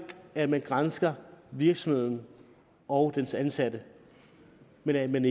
at man gransker virksomheden og dens ansatte men at man